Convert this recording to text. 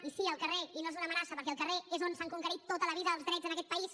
i sí al carrer i no és una amenaça perquè al carrer és on s’han conquerit tota la vida els drets en aquest país